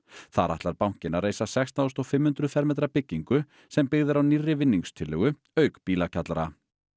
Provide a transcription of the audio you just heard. þar ætlar bankinn að reisa sextán þúsund fimm hundruð fermetra byggingu sem byggð er á nýrri auk bílakjallara